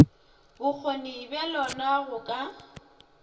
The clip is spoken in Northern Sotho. bokgoni bja lona go ka